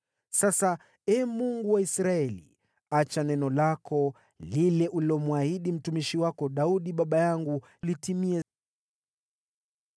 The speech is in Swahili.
Sasa, Ee Mungu wa Israeli, acha neno lako lile ulilomwahidi mtumishi wako Daudi baba yangu litimie.